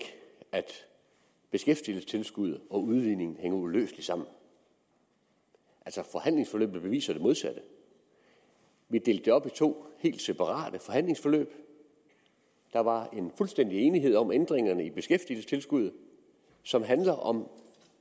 at sige at beskæftigelsestilskuddet og udligningen hænger uløseligt sammen forhandlingsforløbet beviser altså det modsatte vi delte det op i to helt separate forhandlingsforløb der var fuldstændig enighed om ændringerne i beskæftigelsestilskuddet som handlede om